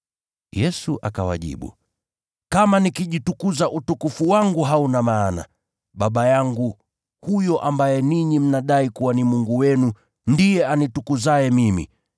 Yesu akawajibu, “Kama nikijitukuza utukufu wangu hauna maana. Baba yangu, huyo ambaye ninyi mnadai kuwa ni Mungu wenu, ndiye anitukuzaye mimi.